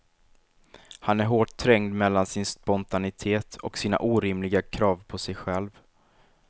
Han är hårt trängd mellan sin spontanitet och sina orimliga krav på sig själv.